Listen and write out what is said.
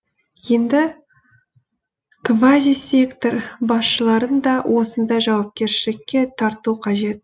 енді квазисектор басшыларын да осындай жауапкершілікке тарту қажет